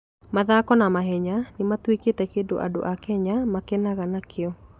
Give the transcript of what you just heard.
Mathako ma mahenya nĩ matuĩkĩte kĩndũ andũ a Kenya makenaga nakĩo.